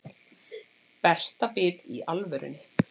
Berta bit í alvörunni.